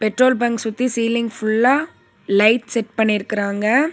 Petrol bunk சுத்தி ceiling ஃபுல்லா light set பண்ணிருக்குறாங்க.